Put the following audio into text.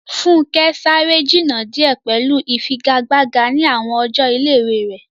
Funke sáré jìnnà díẹ̀ pẹ̀lú ìfigagbága ní àwọn ọjọ́ ilé-ìwé rẹ̀.